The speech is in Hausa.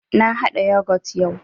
Na haɗa Yogut yau